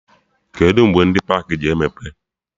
Kedụ mgbe ndị pakị ji emepe?